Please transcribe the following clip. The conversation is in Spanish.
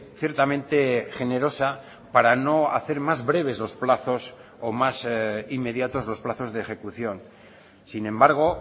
ciertamente generosa para no hacer más breves los plazos o más inmediatos los plazos de ejecución sin embargo